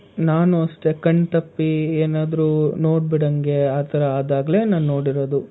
ನಾನು ಅಷ್ಟೇ ಕಣ್ತಪ್ಪಿ ಏನಾದ್ರು ನೋಡ್ಬಿಡಂಗೆ ಆತರ ಆದಾಗ್ಲೆ ನಾನ್ ನೋಡಿರೋದು.